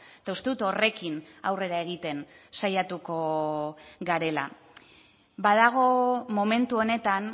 eta uste dut horrekin aurrera egiten saiatuko garela badago momentu honetan